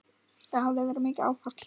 Það hafi verið mikið áfall.